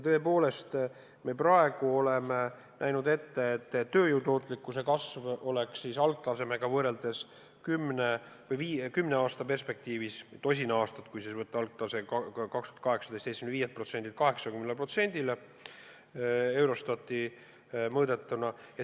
Tõepoolest me oleme ette näinud, et tööjõu tootlikkuse kasv oleks algtasemega võrreldes kümne aasta perspektiivis või õigemini on tosin aastat, kui võtta algaastaks 2018, 75%-lt 80%-le Eurostati mõõdetuna.